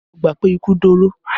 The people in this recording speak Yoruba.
Lọ gbà pé ikú dóró!